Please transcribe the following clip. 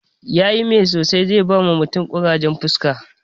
Yayi mai sosai, zai bawa mutum ƙurajen fuska